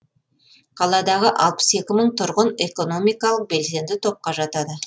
қаладағы алпыс екі мың тұрғын экономикалық белсенді топқа жатады